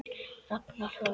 Ragnar hlær.